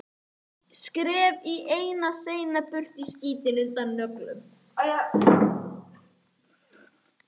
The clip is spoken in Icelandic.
Ég skef seinna burt skítinn undan nöglunum.